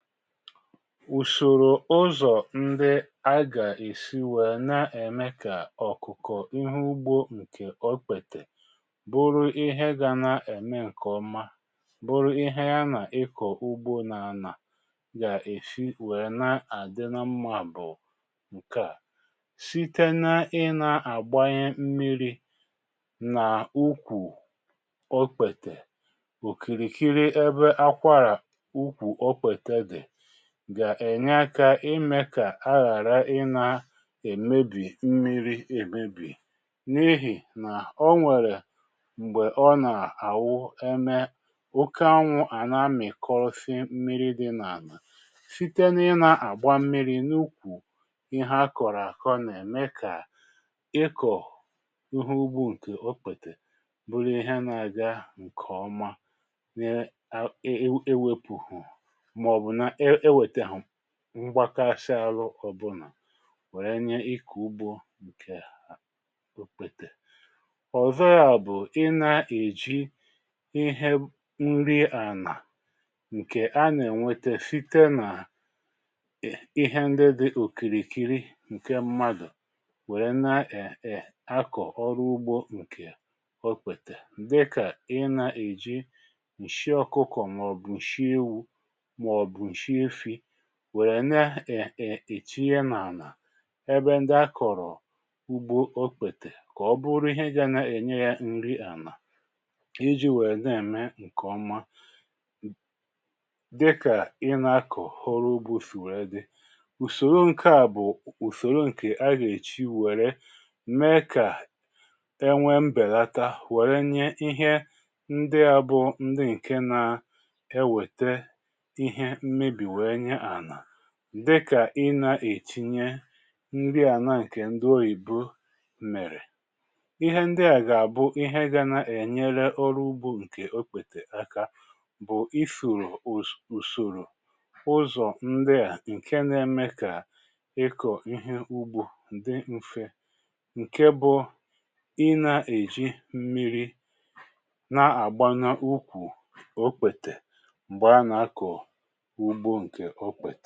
Ụsòrò ụzọ̀ ndi agà-èsi wèe na-ème kà ọ̀kụ̀kọ̀ ihe ugbo ǹkè okpètè bụrụ ihe ga na-ème ǹkèọma bụrụ ihe ya nà ịkọ̀ ugbo nȧ ȧnȧ gà-èsi wèe na-àdị na mmȧ bụ̀ ǹke à; site na ị nȧ-àgbanye mmiri̇ nà ụkwụ̇ okpètè òkìrìkiri ebe akwara ukwu okpete dị gà-ènye akȧ ịmė kà a ghàra ịnȧ èmebì mmiri̇ èmebì n’ihì nà o nwèrè m̀gbè ọ nà-àwụ eme oke anwụ̇ à na-amị̀ kọrọsị mmiri̇ dị n’ànà site na ịnȧ-àgba mmiri̇ n’ukwù ihe a kọ̀rọ̀ àkọ nà ème kà ịkọ̀ uhu ugbu ǹkè okpètè bụrụ ihe nà-àga ǹkèọma e wepùhu ma ọbu na ewetaghi ngbakasị arụ ọbụnà wère nye ikù ugbȯ ǹkè òkpètè. Ọzọ ya bụ̀, ị nà-èji ihẹ nri ànà ǹkè anà-ènwete site nà ị̀hẹ ndị dị òkìrìkiri ǹkè mmadụ̀ wère na um akọ̀ ọrụ ugbȯ ǹkè ọkpètè dị kà ị nà-èji ǹshị ọkụkọ̇ mà ọ̀bụ̀ ǹshị ewu, màọbụ̀ nshi efi wèrè na um ètinye na-àlà ebe ndị a kọ̀rọ̀ ugbo okpètè kà ọ bụrụ ihe ga na-ènye ya nri àlà iji̇ wèrè na-ème ǹkè ọma dịkà ị na-akọ̀ ọrụ ugbȯ sì wèrè dị. Ụsòro ǹke a bụ̀ ùsòrò ǹkè aga èji wèrè mee kà enwee mbèlata wèrè nye ihe ndị a bụ̀ ndị ǹke na enweta ihe mmebi wee nye ana dịkà: ị nà-ètinye nri àna ǹkè ndị oyibo mèrè. Ịhe ndị à gà àbụ ihe gȧ na-ènyere ọrụ ugbȯ ǹkè okpètè aka bụ̀ isoro ùsòrò ụzọ̀ ndị à ǹke na-eme kà ịkọ̀ ihe ugbȯ dị mfe ǹke bụ̇ ị nà-èji mmiri̇ na-àgba nà ukwù okpètè m̀gbè a nà-akọ̀ ugbo ǹkẹ̀ okpete.